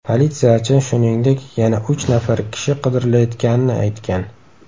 Politsiyachi, shuningdek, yana uch nafar kishi qidirilayotganini aytgan.